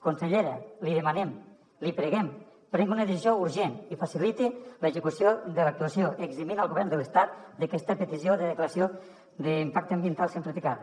consellera li demanem li preguem prengui una decisió urgent i faciliti l’execució de l’actuació eximint el govern de l’estat d’aquesta petició de declaració d’impacte ambiental simplificada